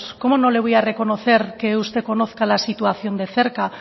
cómo no le voy a reconocer que usted conozca la situación de cerca